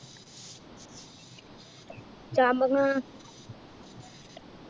ചാമ്പങ്ങ